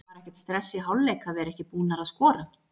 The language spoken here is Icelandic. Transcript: Var ekkert stress í hálfleik að vera ekki búnar að skora?